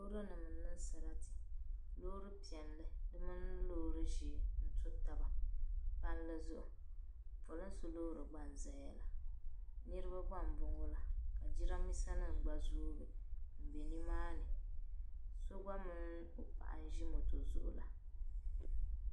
Loori nim. n. niŋ. sarati. loori. peli. di mini. loori ʒee n to taba palli zuɣu polinsi. loori gba. n zaya la. niribi. gba m boŋo la ka niran bisa nim gba zoobu m-be nimaani so gba mini o paɣa n ʒi moto zuɣu la.